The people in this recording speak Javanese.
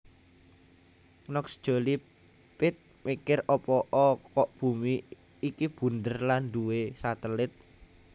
Knox Jolie Pitt mikir opo'o kok bumi iki bunder lan duwe satelit